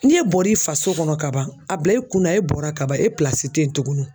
N'e bɔr'i faso kɔnɔ ka ban a bila i kunna e bɔra ka ban e tɛ yen tuguni wo.